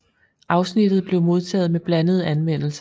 Afsnittet blev modtaget med blandede anmeldelser